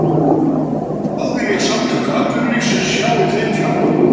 En hvað vilja Samtök atvinnulífsins sjá í þeim fjárlögum?